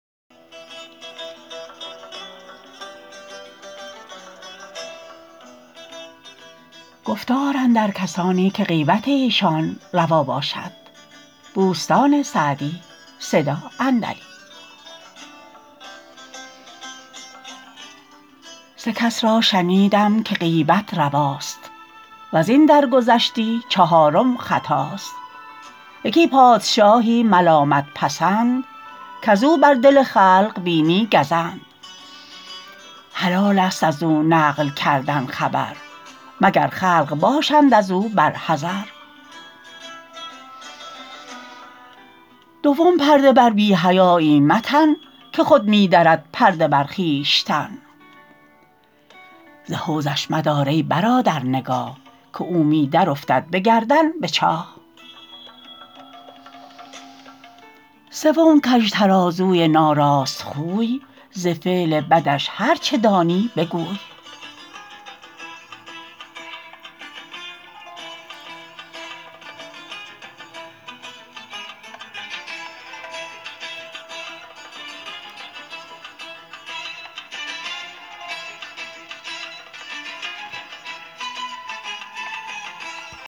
سه کس را شنیدم که غیبت رواست وز این درگذشتی چهارم خطاست یکی پادشاهی ملامت پسند کز او بر دل خلق بینی گزند حلال است از او نقل کردن خبر مگر خلق باشند از او بر حذر دوم پرده بر بی حیایی متن که خود می درد پرده بر خویشتن ز حوضش مدار ای برادر نگاه که او می درافتد به گردن به چاه سوم کژ ترازوی ناراست خوی ز فعل بدش هرچه دانی بگوی